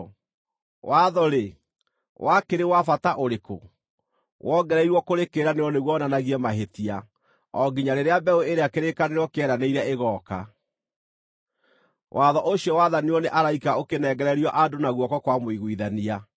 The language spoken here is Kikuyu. Watho-rĩ, wakĩrĩ wa bata ũrĩkũ? Wongereirwo kũrĩ kĩĩranĩro nĩguo wonanagie mahĩtia o nginya rĩrĩa mbeũ ĩrĩa kĩrĩkanĩro kĩeranĩire ĩgooka. Watho ũcio wathanirwo nĩ araika ũkĩnengererio andũ na guoko kwa mũiguithania.